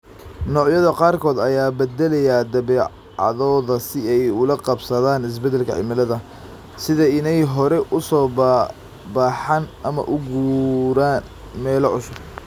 Noocyada qaarkood ayaa bedelaya dabeecadooda si ay ula qabsadaan isbedelka cimilada, sida inay hore u soo baxaan ama u guuraan meelo cusub.